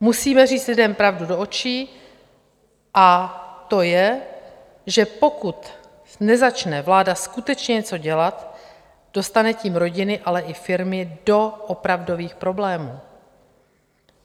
Musíme říct lidem pravdu do očí, a to je, že pokud nezačne vláda skutečně něco dělat, dostane tím rodiny, ale i firmy do opravdových problémů.